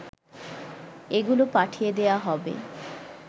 এগুলো পাঠিয়ে দেয়া হবে